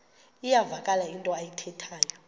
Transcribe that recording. iyavakala into ayithethayo